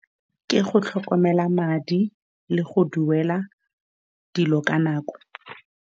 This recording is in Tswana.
Ke go tlhokomela madi, le go duela dilo ka nako.